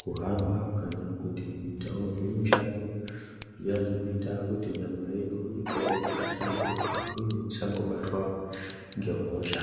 kuhamba kana kuti kuitawo zvimushando zviya zvinoita kuti nyama yedu igare yakahlamburuka uye tisangobatwa ngehosha.